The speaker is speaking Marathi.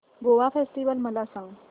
गोवा फेस्टिवल मला सांग